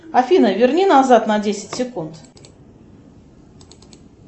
афина верни назад на десять секунд